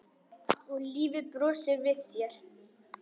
Og lífið brosir við þér!